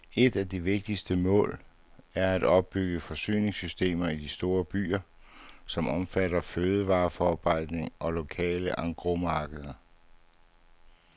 Et af de vigtigste mål er at opbygge forsyningssystemer i de store byer, som omfatter fødevareforarbejdning og lokale engrosmarkeder.